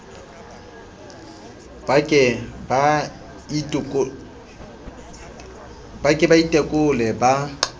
ba ke ba itekole ba